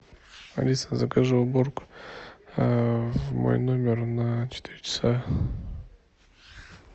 алиса закажи уборку в мой номер на четыре часа